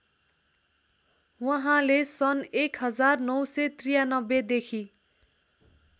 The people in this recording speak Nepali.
उहाँले सन् १९९३ देखि